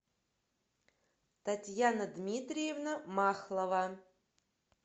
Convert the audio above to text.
татьяна дмитриевна махлова